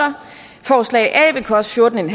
forslag a vil koste fjorten